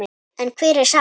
En hver er sagan?